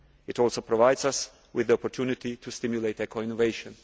It also provides us with the opportunity to stimulate eco innovation.